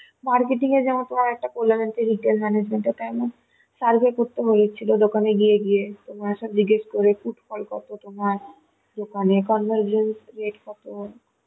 marketing এ যেমন তোমার একটা retail management ওটা যেমন survey করতে বলেছিল দোকানে গিয়ে গিয়ে তোমার put ফল কত তোমার দোকানের rate কত